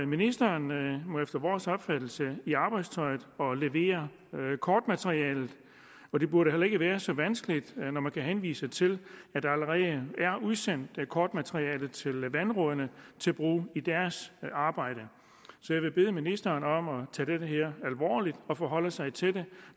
ministeren må efter vores opfattelse i arbejdstøjet og levere kortmaterialet det burde heller ikke være så vanskeligt når man kan henvise til at der allerede er udsendt kortmateriale til vandrådene til brug i deres arbejde så jeg vil bede ministeren om at tage det det her alvorligt og forholde sig til det